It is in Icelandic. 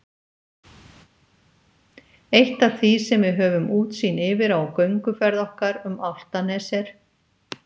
Eitt af því sem við höfum útsýn yfir á gönguferð okkar um Álftanes er